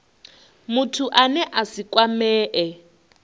muthu ane a si kwamee